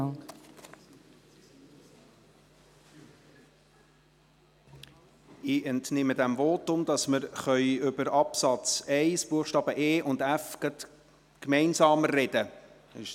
Ich entnehme diesem Votum, dass wir über die Buchstaben e und f gemeinsam reden können.